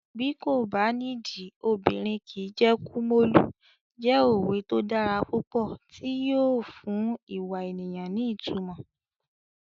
Bí kò bá nídìí, obìnrin kìí jẹ́ Kumolu" jẹ́ òwe tó dára púpọ̀ tí yóò fún ìwà ènìyàn ní ìtumọ̀.